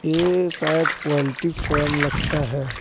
ए शायद poultry farm लगता है।